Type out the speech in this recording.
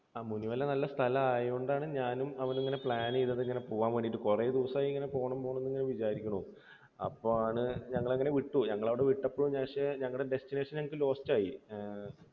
ആ മുനിമല നല്ല സ്ഥലം ആയതുകൊണ്ടാണ് ഞാനും അവനും ഇങ്ങനെ plan ചെയ്തത് ഇങ്ങനെ പോകാൻ വേണ്ടിയിട്ട്. കുറേ ദിവസമായി ഇങ്ങനെ പോണം പോണം എന്നു തന്നെ വിചാരിക്കുന്നു. അപ്പോളാണ് ഞങ്ങൾ അങ്ങനെ വിട്ടു. ഞങ്ങൾ അവിടുന്ന് വിട്ടശേഷം പക്ഷേ ഞങ്ങളുടെ destination എനിക്ക് lost ആയി